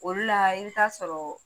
Olu la i b'i taa sɔrɔ